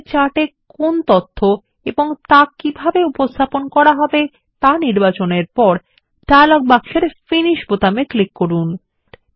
তাহলে চার্ট এ কি তথ্য এবং তা কিভাবে উপস্থাপন করা হবে তা নির্বাচনের পরে ডায়লগ বক্সের ফিনিশ বোতামে ক্লিক করুন